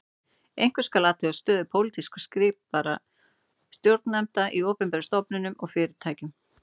Einkum skal athuga stöðu pólitískt skipaðra stjórnarnefnda í opinberum stofnunum og fyrirtækjum